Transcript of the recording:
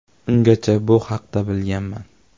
Ungacha bu haqda bilmaganman.